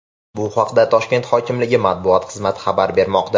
Bu haqda Toshkent hokimligi matbuot xizmati xabar bermoqda .